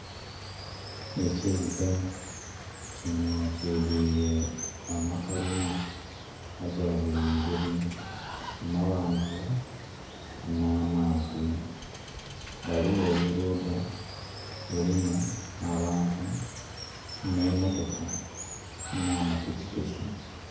Ekibuga kinho kiduile amakalina aga buli ngeri, amaghanvu n'amampi. Ghaligho olugudho lulimu abantu n'emotoka n'amapikipiki.